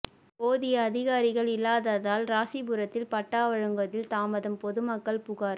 போதிய அதிகாரிகள் இல்லாததால் ராசிபுரத்தில் பட்டா வழங்குவதில் தாமதம் பொதுமக்கள் புகார்